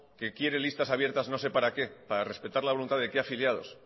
que quiere listas abiertas no sé para qué para respetar la voluntad de qué afiliados